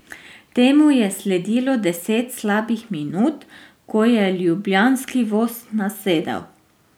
Temu je sledilo deset slabih minut, ko je ljubljanski voz nasedel.